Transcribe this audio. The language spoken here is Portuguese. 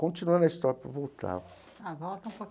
Continuando a história para voltar. Ah, volta um